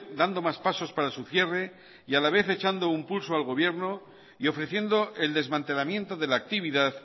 dando más pasos para su cierre y a la vez echando un pulso al gobierno y ofreciendo el desmantelamiento de la actividad